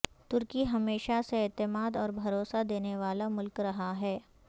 ترکی ہمیشہ سے اعتماد اور بھروسہ دینے والا ملک رہا ہے